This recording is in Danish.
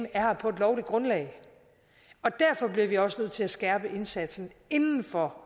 er her på et lovligt grundlag derfor bliver vi også nødt til at skærpe indsatsen inden for